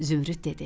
Zümrüd dedi.